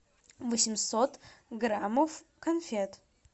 восемьсот граммов конфет